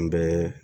N bɛ